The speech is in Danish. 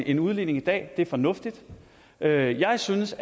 en udligning i dag det er fornuftigt jeg jeg synes